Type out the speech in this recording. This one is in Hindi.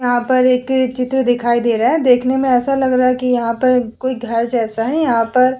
यहाँ पर एक चित्र दिखाई दे रहा है देखने में ऐसा लग रहा है कि यहाँ पर कोई घर जैसा है। यहाँ पर --